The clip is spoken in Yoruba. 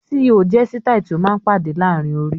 "Síí ò" jẹ́ sitai tí ó máa ń pàdé laarin orí.